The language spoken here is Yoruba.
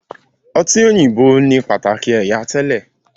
ọtí òyìnbó ni pataki ẹyà tẹlẹ.